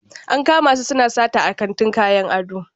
An kama su suna sata a kantin kayan ado.